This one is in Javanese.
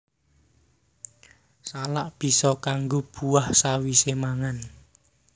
Salak bisa kanggo buah sawisé mangan